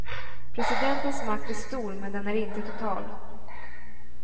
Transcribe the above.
Presidentens makt är stor men den är inte total.